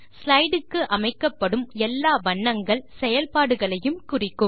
ஸ்லைடுக்கு அமைக்கப்படும் எல்லா வண்ணங்கள் செயல்பாடுகளையும் குறிக்கும்